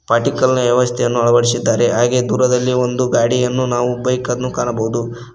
Particle ವ್ಯವಸ್ಥೆಯನ್ನು ಅಳವಡಿಸಿದ್ದಾರೆ ಹಾಗೆ ದೂರದಲ್ಲಿ ಒಂದು ಗಾಡಿಯನ್ನು ನಾವು ಬೈಕನ್ನು ಕಾಣಬಹುದು.